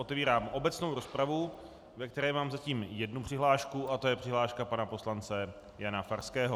Otevírám obecnou rozpravu, ve které mám zatím jednu přihlášku, a to je přihláška pana poslance Jana Farského.